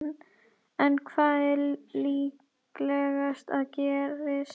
En hvað er líklegast að gerist?